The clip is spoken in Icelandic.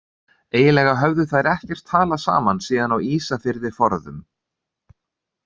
Eiginlega höfðu þær ekkert talað saman síðan á Ísafirði forðum.